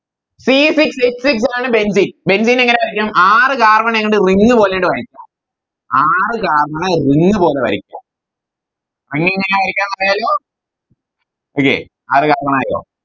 C six h six ആണ് Benzene benzene എങ്ങനെ വരക്കാം ആറ് Carbon അങ്ങട് Ring പോലെയങ്ങട് വരയ്ക്ക ആറ് Carbon ring പോലെ വരയ്ക്ക എങ്ങനെയാ വരയ്ക്കാൻ പറയാലോ Okay ആറ് Carbon ആയോ